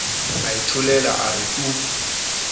a itholela a re tu